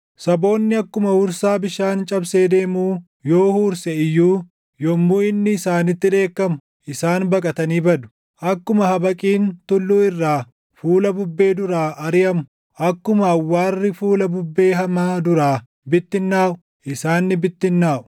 Saboonni akkuma huursaa bishaan cabsee deemuu yoo huurse iyyuu yommuu inni isaanitti dheekkamu // isaan baqatanii badu; akkuma habaqiin tulluu irraa fuula bubbee dura ariʼamu, akkuma awwaarri fuula bubbee hamaa duraa bittinnaaʼu // isaan ni bittinnaaʼu.